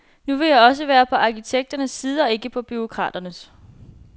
Så vil jeg også være på arkitekternes side og ikke på bureaukraternes.